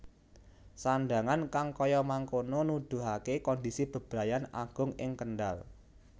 Sandhangan kang kaya mangkono nudhuhake kondisi bebrayan agung ing Kendhal